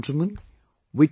My dear countrymen,